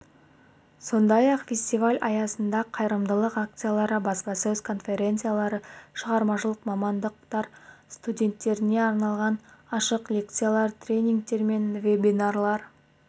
сондай-ақ фестиваль аясында қайырымдылық акциялары баспасөз конференциялары шығармашылық мамандықтар студенттеріне арналған ашық лекциялар тренингтер мен вебинарлар